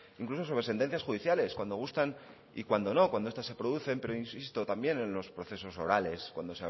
incluso sobre sentencias judiciales cuando gustan y cuando no cuando estas se producen pero insisto también en los procesos orales cuando